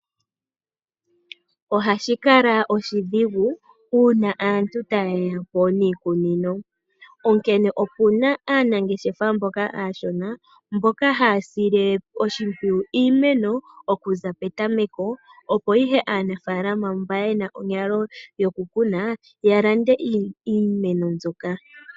Ohashi kala oshidhigu uuna aantu taye ya po niikunino, onkene opu na aanangeshefa mboka aashona mboka haya sile oshimpwiyu iimeno okuza petameko, opo ihe aanafaalama mba yena onyalo yokukuna ya lande iimeno mbyoka.